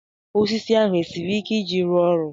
Osisi ahụ esiri ike iji rụọ ọrụ?